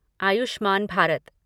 Ayushman Bharat